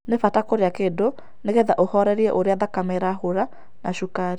Nĩ bata kũrĩa kĩndũ nĩgetha ũhorerĩe ũrĩa thakame ĩrahũra na cukari